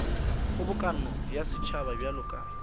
kgobokano ya setšhaba bjalo ka